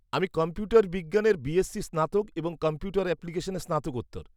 -আমি কম্পিউটার বিজ্ঞানের বিএসসি স্নাতক এবং কম্পিউটার অ্যাপ্লিকেশনে স্নাতকোত্তর।